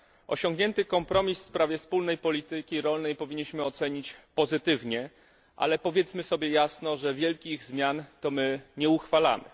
Osiągnięty kompromis w sprawie wspólnej polityki rolnej powinniśmy ocenić pozytywnie, ale powiedzmy sobie jasno, że wielkich zmian to my nie uchwalamy.